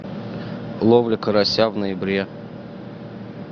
ловля карася в ноябре